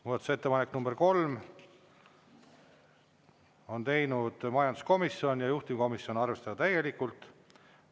Muudatusettepaneku nr 3 on teinud majanduskomisjon ja juhtivkomisjon: arvestada täielikult.